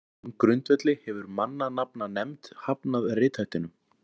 á þeim grundvelli hefur mannanafnanefnd hafnað rithættinum